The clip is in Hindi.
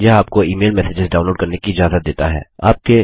यह आपको ईमेल मैसेसेज डाऊनलोड करने की इजाज़त देता है